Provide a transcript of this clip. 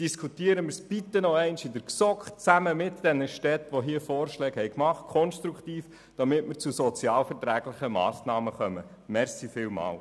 Diskutieren wir es noch einmal konstruktiv in der GSoK zusammen mit den Städten, damit wir sozialverträgliche Massnahmen erreichen.